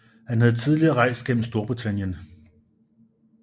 Han havde tidligere rejst gennem Storbritannien